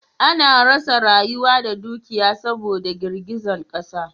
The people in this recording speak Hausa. A na rasa rayuka da dukiyoyi saboda girgizan ƙasa